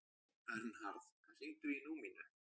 Vernharð, hringdu í Númínu.